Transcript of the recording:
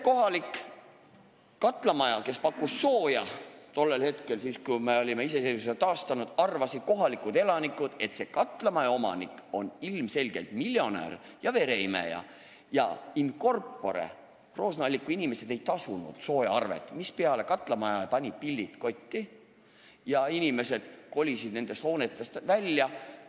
Kohalikud inimesed arvasid sel ajal, kui me olime iseseisvuse taastanud, et maju soojusega varustava katlamaja omanik on ilmselgelt miljonär ja vereimeja ning in corpore Roosna-Alliku inimesed ei tasunud soojaarveid, mispeale katlamaja pani pillid kotti ja inimesed kolisid hoonetest välja.